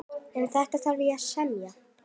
Um þetta þarf að semja.